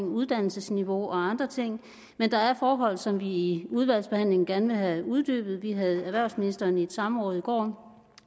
uddannelsesniveau og andre ting men der er forhold som vi i udvalgsbehandlingen gerne vil have uddybet vi havde erhvervsministeren i et samråd i går